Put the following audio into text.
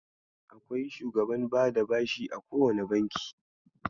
Akwai shugaban bada bashi a kowane Banki.